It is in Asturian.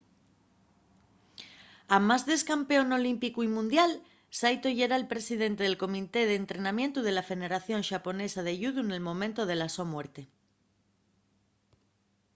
amás d’ex-campeón olímpicu y mundial saito yera’l presidente del comité d’entrenamientu de la federación xaponesa de yudu nel momentu de la so muerte